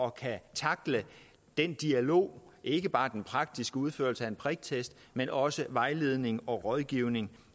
at kunne tackle den dialog ikke bare den praktiske udførelse af en priktest men også vejledning og rådgivning